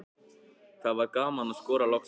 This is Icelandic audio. Það var gaman að skora loksins.